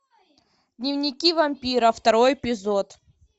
дневники вампира второй эпизод